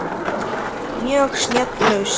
Mjög snjöll lausn.